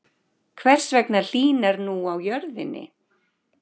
Hvers vegna hlýnar nú á jörðinni?